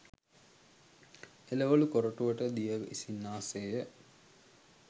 එළවළු කොරටුවට දිය ඉසින්නා සේ ය.